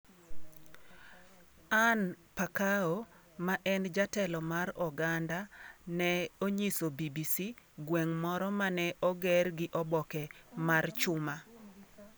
Anne Pakoa, ma en jatelo mar oganda, ne onyiso BBC gweng' moro mane oger gi oboke mar chuma.